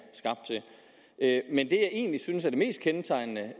egentlig synes er det mest kendetegnende